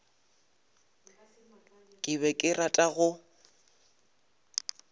ke be ke rata go